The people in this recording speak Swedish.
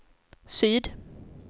syd